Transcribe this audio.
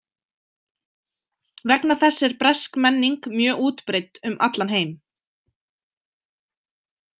Vegna þess er bresk menning mjög útbreidd um allan heim.